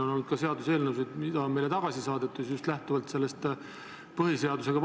On olnud ka seaduseelnõusid, mida on meile tagasi saadetud just lähtuvalt vastuolust põhiseadusega.